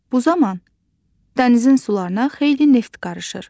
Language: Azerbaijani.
Bu zaman dənizin sularına xeyli neft qarışır.